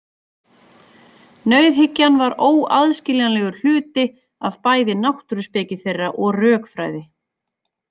Nauðhyggjan var óaðskiljanlegur hluti af bæði náttúruspeki þeirra og rökfræði.